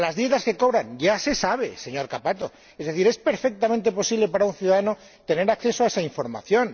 O las dietas que cobran, ya se sabe, señor Cappato. Es decir, es perfectamente posible para un ciudadano tener acceso a esa información.